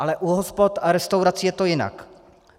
Ale u hospod a restaurací je to jinak.